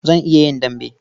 Zan iya yin dambe.